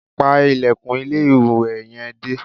Pa ilẹ̀kùn ilé-ìwẹ̀ yẹn dé